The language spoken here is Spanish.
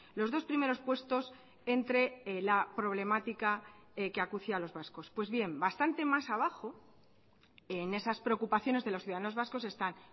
los dos primeros puestos entre la problemática que acucia a los vascos pues bien bastante más abajo en esas preocupaciones de los ciudadanos vascos están